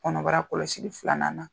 Kɔnɔbara kɔlɔsi filanan na.